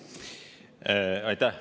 Aitäh!